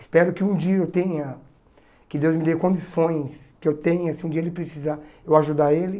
Espero que um dia eu tenha, que Deus me dê condições que eu tenha, se um dia ele precisar, eu ajudar ele.